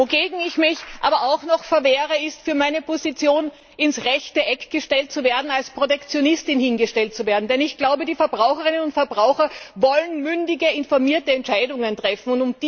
Wogegen ich mich aber auch noch verwehre, ist, für meine Position ins rechte Eck gestellt zu werden, als Protektionistin hingestellt zu werden, denn ich glaube, die Verbraucherinnen und Verbraucher wollen mündige, informierte Entscheidungen treffen.